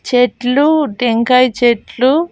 చెట్లు టెంకాయ్ చెట్లు--